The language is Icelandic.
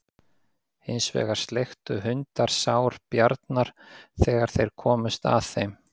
Hins vegar sleiktu hundar sár Bjarnar þegar þeir komust að þeim.